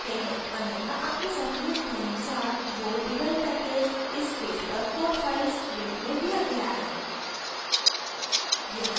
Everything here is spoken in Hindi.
अन्यथा आपकी सहूलियत के अनुसार वो devel package इस package पर code files link में दिया गया है